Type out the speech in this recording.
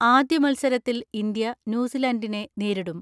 ആദ്യ മത്സരത്തിൽ ഇന്ത്യ ന്യൂസി ലാൻഡിനെ നേരിടും.